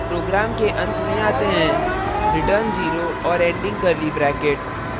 program के अंत में आते हैं return 0 और ending curly bracket